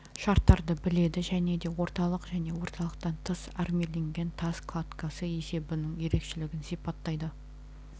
шарттарды біледі және де орталық және орталықтан тыс армирленген тас кладкасы есебінің ерекшелігін сипаттайды